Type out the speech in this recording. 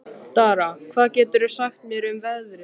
Dara, hvað geturðu sagt mér um veðrið?